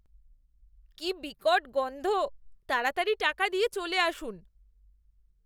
কি বিকট গন্ধ। তাড়াতাড়ি টাকা দিয়ে চলে আসুন।